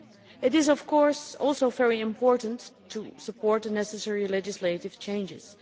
It is of course also very important to support the necessary legislative changes.